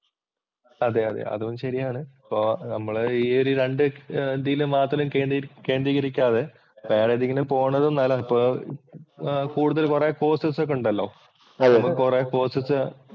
അതെ അതെ അതും ശരിയാണ്. ഇപ്പൊ നമ്മള് ഈ ഒരു രണ്ടു ഇതില് മാത്രം കേന്ദ്രീകരിക്കാതെ വേറെ ഏതേലും കൂടുതല്‍ കൊറേ കോഴ്സസ് ഒക്കെ ഉണ്ടല്ലോ. കൊറേ കോഴ്സസ്